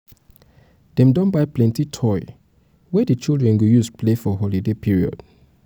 dem don buy plenty toy wey um di children go um use play for holiday period. um